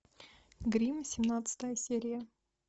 грим семнадцатая серия